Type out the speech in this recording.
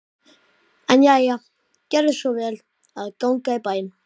En jæja, gerðu svo vel að ganga í bæinn.